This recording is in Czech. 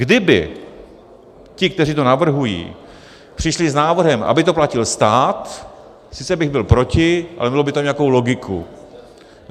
Kdyby ti, kteří to navrhují, přišli s návrhem, aby to platil stát, sice bych byl proti, ale mělo by to nějakou logiku.